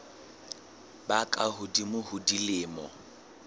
ba ka hodimo ho dilemo